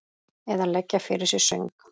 Eða leggja fyrir sig söng?